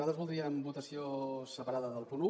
nosaltres voldríem votació separada del punt un